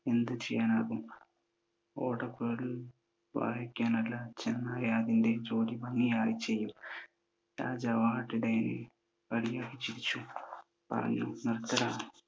എന്ത് ചെയ്യാനാകും? ഓടക്കുഴൽ വായിക്കാനല്ല ചെന്നായ് അതിൻ്റെ ജോലി ഭംഗിയായി ചെയ്യും. രാജാവ് ആട്ടിടയരെ പരിഹസിച്ചു ചിരിച്ചു, പറഞ്ഞു, നിർത്തട.